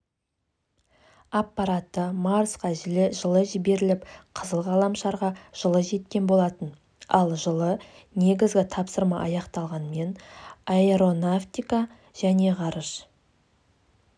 аппараты марсқа жылы жіберіліп қызыл ғаламшарға жылы жеткен болатын ал жылы негізгі тапсырмааяқталғанмен аэронавтика және ғарыш